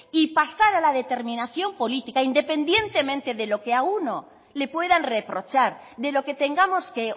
y pasar a la determinación política independientemente de lo que a uno le puedan reprochar de lo que tengamos que